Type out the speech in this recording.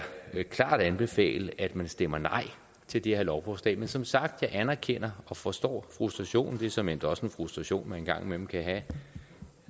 klart anbefale at man stemmer nej til det her lovforslag men som sagt anerkender og forstår frustrationen det er såmænd også en frustration man en gang imellem kan have